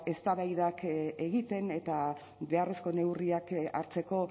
eztabaidak egiten eta beharrezko neurriak hartzeko